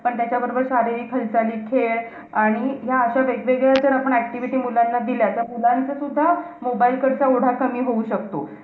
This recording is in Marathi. पण त्याच्याबरोबर सारे खांसारी खेळ आणि ह्या अश्या वेगवेगळ्या जर आपण activity मुलांना दिल्या. तर मुलांचं सुद्धा mobile कडचा ओढा कमी होऊ शकतो.